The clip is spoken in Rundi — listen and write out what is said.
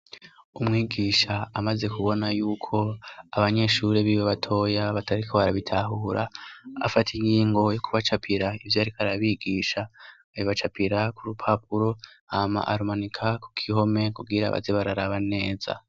Umwigisha amaze kubona y'uko, abanyeshuri b'iwe batoya batariko barabitahura, afata ingingo yo kubacapira ivyo yariko arabigisha, abibacapira ku rupapuro, hama arumanika ku kihome kugira baze bararaba neza.